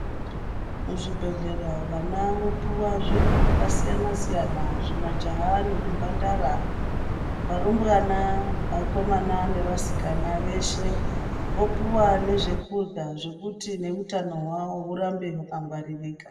Muzvibhendleya vana vopuwa zviro zvakasiyana siyana zvimajaha nezvimhandara, varumbwana, vakomana nevasikana vopuwa nezvekudyra zvekuti neutano hwavo hurambe hwakangwaririka